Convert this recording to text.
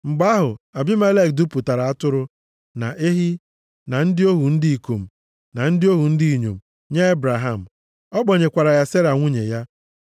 Mgbe ahụ, Abimelek dupụtara atụrụ, na ehi, na ndị ohu ndị ikom, na ndị ohu ndị inyom, nye Ebraham. Ọ kpọnyekwara ya Sera nwunye ya.